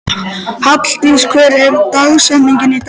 Halldís, hver er dagsetningin í dag?